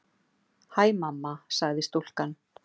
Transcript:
Hæ, mamma- sagði stúlkan.